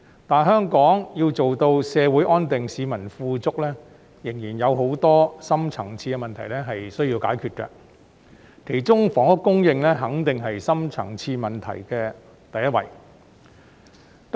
但香港要做到社會安定、市民富足，仍有很多深層次的問題需要解決，其中房屋供應肯定是深層次問題的第一位。